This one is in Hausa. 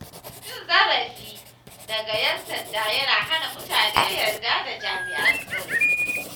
Cin zarafi daga ƴan sanda yana hana mutane yarda da jami’an tsaro.